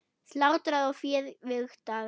Slátrað og féð vigtað.